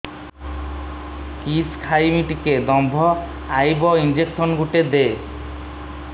କିସ ଖାଇମି ଟିକେ ଦମ୍ଭ ଆଇବ ଇଞ୍ଜେକସନ ଗୁଟେ ଦେ